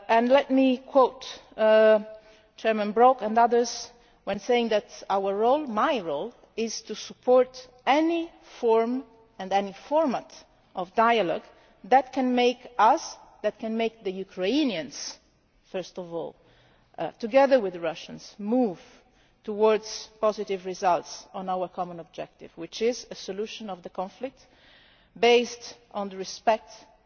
Let me quote Mr Brok and others in saying that our role, and my role, is to support any form and any format of dialogue that can make us, and can make the Ukrainians, first of all, together with the Russians, move towards positive results on our common objective, which is a resolution to the conflict based on respect for,